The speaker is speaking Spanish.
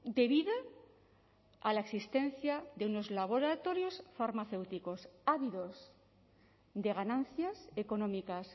de vida a la existencia de unos laboratorios farmacéuticos ávidos de ganancias económicas